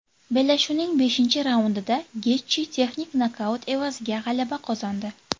Bellashuvning beshinchi raundida Getji texnik nokaut evaziga g‘alaba qozondi .